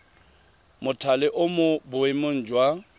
mothale o mo boemong jwa